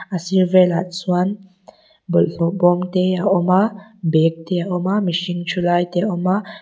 a bul velah chuan bawlhhlawh bawm te a awm a bag te a awm a mihring thu lai te a awm a--